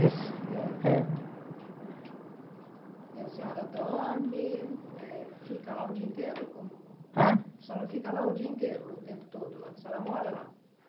É. E a senhora dorme, eh fica lá o dia inteiro como? Hã? A senhora fica lá o dia inteiro, o tempo todo lá? A senhora mora lá?